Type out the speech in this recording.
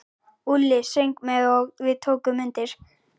Úlli söng með og við tókum undir.